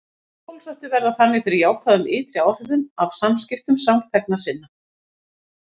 Hinir óbólusettu verða þannig fyrir jákvæðum ytri áhrifum af samskiptum samþegna sinna.